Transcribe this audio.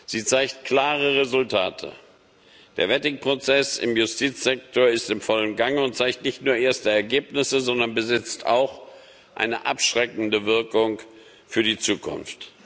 Sie zeigen klare Resultate Der Vetting Prozess im Justizsektor ist im vollen Gange und zeigt nicht nur erste Ergebnisse, sondern besitzt auch eine abschreckende Wirkung für die Zukunft.